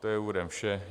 To je úvodem vše.